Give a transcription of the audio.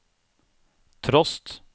trost